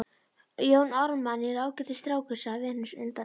Jón Ármann er ágætis strákur, sagði Venus undan Eyjafjöllum.